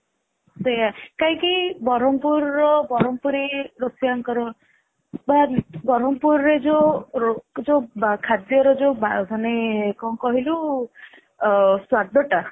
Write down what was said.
ସେଇଆ କାହିଁକି ବ୍ରହ୍ମପୁର ର ବ୍ରହ୍ମପୁରି ରୋଷେୟାଙ୍କର ବା ବ୍ରହ୍ମପୁର ରେ ଯୋଉ ରୋ ଯୋଉ ଖାଦ୍ୟ ର ଯୋଉ ବା ମାନେ କଣ କହିଲୁ ଅ ସ୍ଵାଦ ଟା